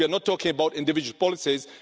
We are not talking about individual policies